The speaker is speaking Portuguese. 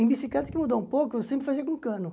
Em bicicleta que mudou um pouco, eu sempre fazia com cano.